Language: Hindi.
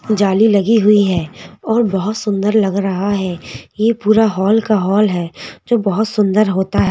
जाली लगी हुई है और बहुत सुंदर लग रहा है यह पूरा हॉल का हॉल है जो बहुत सुंदर होता है।